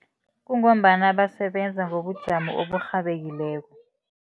Kungombana basebenza ngobujamo oburhabekileko.